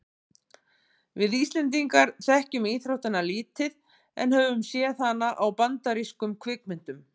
við íslendingar þekkjum íþróttina lítið en höfum séð hana í bandarískum kvikmyndum